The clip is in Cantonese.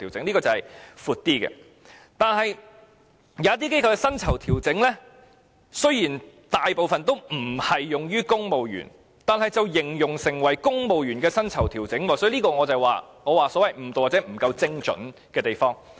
但是，一些機構的薪酬調整雖然大部分不適用於公務員，但形容成公務員薪酬調整，就是我所謂的誤導，或者不夠精準的地方。